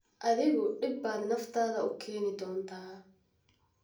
Adigu dhib baad naftaada u keeni doontaa.